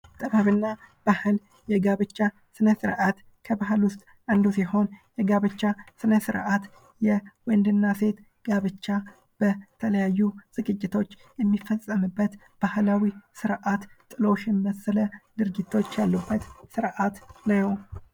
ጥበብና ባህል የጋብቻ ስነ ስርዓት ከባህል ውስጥ አንዱ ሲሆን የጋብቻ ስነ ስርዓት የወንድና ሴት ጋብቻ በተለያዩ ዝግጅቶች የሚፈጸምበት ስርአት ጥሎሽን የመሰለ ስርዓት ያለበት ነው።